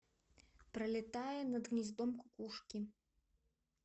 пролетая над гнездом кукушки